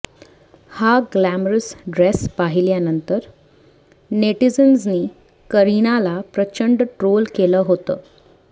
हा glamorous dress पाहिल्यानंतर नेटिझन्सनी करीनाला प्रचंड ट्रोल केलं होतं